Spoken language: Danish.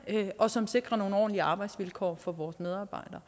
og som sikrer nogle ordentlige arbejdsvilkår for vores medarbejdere